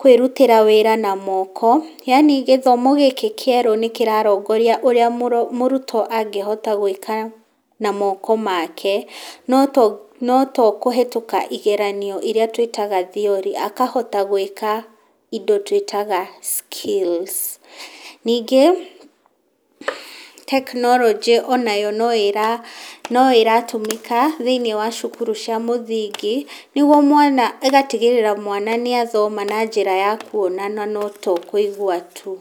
kwĩrutĩra wĩra na moko, yaani gĩthomo gĩkĩ kĩerũ nĩ kĩrarongoria ũrĩa mũrutwo angĩhota gwĩka na moko make, no to no tokũhĩtũka igeranio iria twĩtaga theory, akahota gwĩka indo twĩtaga skills. Ningĩ tekinoronjĩ onayo no ĩra no ĩra tũmĩka thĩinĩ wa cukuru cia mũthingi nĩguo mwana ĩgatigĩrĩra mwana nĩ athoma na njĩra ya kuona na no to kũigwa tu.